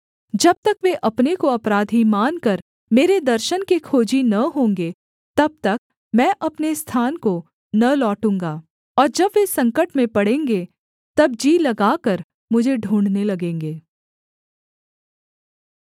जब तक वे अपने को अपराधी मानकर मेरे दर्शन के खोजी न होंगे तब तक मैं अपने स्थान को न लौटूँगा और जब वे संकट में पड़ेंगे तब जी लगाकर मुझे ढूँढ़ने लगेंगे